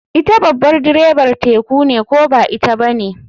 Ita babar direbar teku ne ko ba ita bane.